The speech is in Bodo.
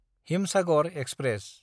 हिमसागर एक्सप्रेस